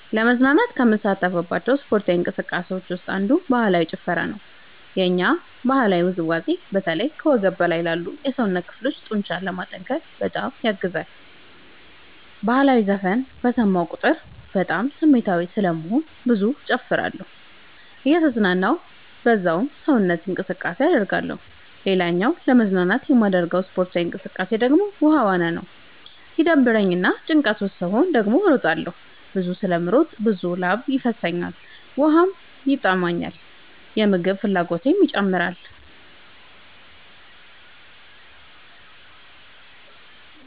ለመዝናናት ከምሳተፍባቸው ስፓርታዊ እንቅስቃሴዎች ውስጥ አንዱ ባህላዊ ጭፈራ ነው። የኛ ባህላዊ ውዝዋዜ በተለይ ከወገብ በላይ ላሉ የሰውነት ክፍሎ ጡንቻዎችን ለማጠንከር በጣም ያግዛል። በህላዊ ዘፈን በሰማሁ ቁጥር በጣም ስሜታዊ ስለምሆን ብዙ እጨፍራለሁ እየተዝናናሁ በዛውም ሰውነት እንቅስቃሴ አደርጋለሁ። ሌላኛው ለመዝናናት የማደርገው ስፖርታዊ እንቅቃሴ ደግሞ ውሃ ዋና ነው። ሲደብረኝ እና ጭንቀት ውስጥ ስሆን ደግሞ እሮጣለሁ። ብዙ ስለምሮጥ ብዙ ላብ ይፈሰኛል ውሃም ይጠማኛል የምግብ ፍላጎቴም ይጨምራል።